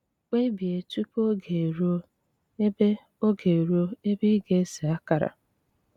Kpebie tupu oge eruo ebe oge eruo ebe ị ga-ese akara.